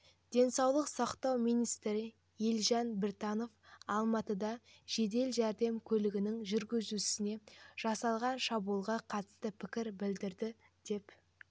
денсаулық сақтау министрі елжан біртанов алматыда жедел жәрдем көлігінің жүргізушісіне жасалған шабуылға қатысты пікір білдірді деп